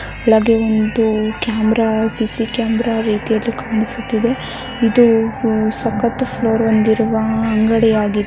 ಇಲ್ಲಿ ಒಂದು camera C C camera ರೀತಿ ಕಾಣಿಸುತ್ತದೆ ಇದು ಸಕ್ಕತ್ ಫ್ಲೋರ್ ಹೊಂದಿರುವ ಅಂಗಡಿಯಾಗಿದೆ.